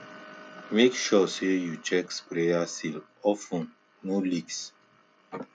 make sure say you check sprayer seal of ten no leaks